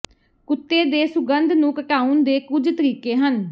ਕੁੱਤੇ ਦੇ ਸੁਗੰਧ ਨੂੰ ਘਟਾਉਣ ਦੇ ਕੁਝ ਤਰੀਕੇ ਹਨ